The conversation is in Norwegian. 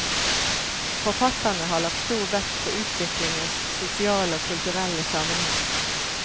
Forfatterne har lagt stor vekt på utviklingens sosiale og kulturelle sammenheng.